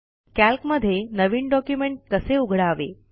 कॅल्कमधे नवीन डॉक्युमेंट कसे उघडावे